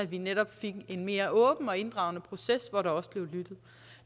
vi netop fik en mere åben og inddragende proces hvor der også blev lyttet